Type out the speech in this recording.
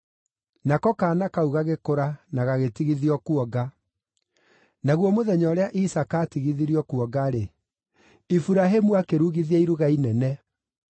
Nako kaana kau gagĩkũra na gagĩtigithio kuonga; naguo mũthenya ũrĩa Isaaka aatigithirio kuonga-rĩ, Iburahĩmu akĩrugithia iruga inene.